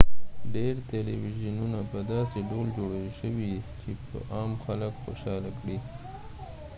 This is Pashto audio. ډیر تلویزیونونه په داسې ډول جوړي شوي چې عام خلک خوشحاله کړي